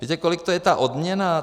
Víte, kolik to je ta odměna?